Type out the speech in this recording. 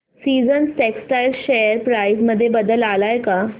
seasons textile share price मध्ये बदल आलाय का